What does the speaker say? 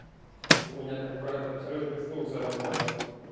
у меня так брат абсолютный слух заработал